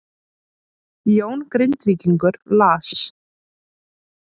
Jón Grindvíkingur las